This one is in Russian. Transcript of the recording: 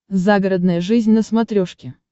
загородная жизнь на смотрешке